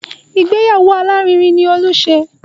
Ìgbéyàwó alárinrin ni Olú ṣe